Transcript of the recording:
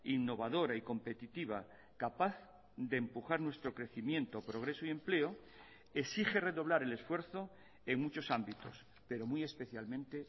innovadora y competitiva capaz de empujar nuestro crecimiento progreso y empleo exige redoblar el esfuerzo en muchos ámbitos pero muy especialmente